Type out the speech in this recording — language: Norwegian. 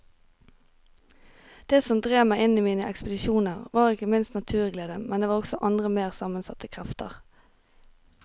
Det som drev meg i mine ekspedisjoner var ikke minst naturglede, men det var også andre mer sammensatte krefter.